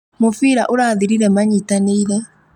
Mũbira ũrathirire manyitanĩire